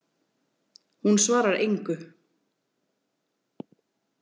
Hún svarar engu.